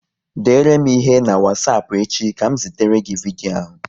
Dere m ihe n'wasapu echi ka m zitere gị vidyo ahu